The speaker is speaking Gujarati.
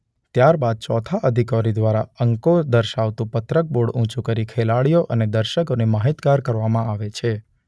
ત્યારબાદ ચોથા અધિકારી દ્વારા અંકો દર્શાવતું પત્રક બોર્ડ ઉંચુ કરી ખેલાડીઓ અને દર્શકોને માહિતગાર કરવામાં આવે છે.